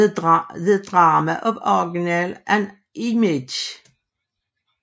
The Drama of Original and Image